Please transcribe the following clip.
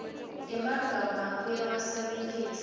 temagama abuye awasebentise